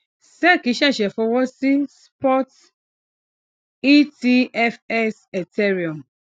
sec ṣẹṣẹ fọwọ sí spot etfs ethereum